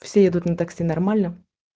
все едут на такси нормально